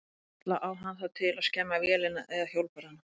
Ella á hann það til að skemma vélina eða hjólbarðana.